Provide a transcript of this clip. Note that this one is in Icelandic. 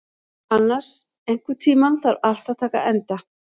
Annas, einhvern tímann þarf allt að taka enda.